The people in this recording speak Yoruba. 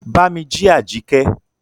Bámí jí Àjíkẹ́!